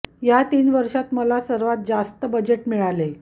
या तीन वर्षांत मला सर्वात जास्त बजेट मिळाले